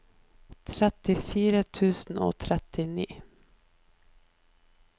trettifire tusen og trettini